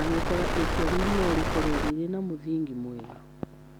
angĩkorũo itua rĩu no rĩkorũo rĩrĩ na mũthingi mwega.